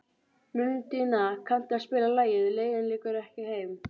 Mundína, kanntu að spila lagið „Leiðin liggur ekki heim“?